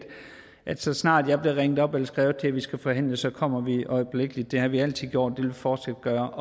så snart jeg bliver ringet op eller skrevet til om at vi skal forhandle så kommer vi øjeblikkeligt det har vi altid gjort vi fortsat gøre